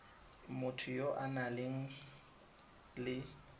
motho ya o nang le